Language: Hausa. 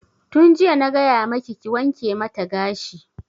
Tun jiya na gaya maki ki wanke mata gashi!